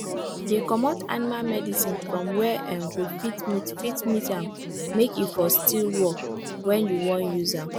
dey comot animal medicine from where[um]go fit meet fit meet am make e for still fit work when you wan use am